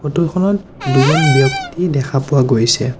Photo খনত দুজন ব্যক্তি দেখা পোৱা গৈছে।